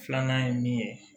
Filanan ye min ye